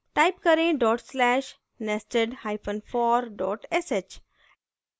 type करें dot slash nestedhyphen for dot sh